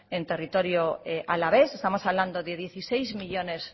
en territorio alavés estamos hablando de dieciséis millónes